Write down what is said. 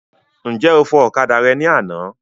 Ǹjẹ́ o fọ okada rẹ ní àná.